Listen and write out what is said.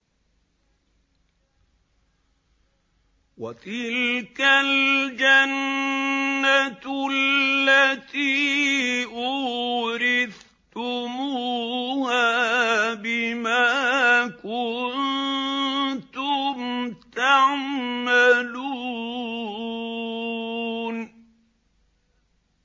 وَتِلْكَ الْجَنَّةُ الَّتِي أُورِثْتُمُوهَا بِمَا كُنتُمْ تَعْمَلُونَ